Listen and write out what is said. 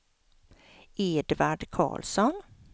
Edvard Karlsson